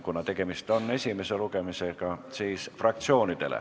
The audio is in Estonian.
Kuna tegemist on esimese lugemisega, siis osaleda saavad fraktsioonid.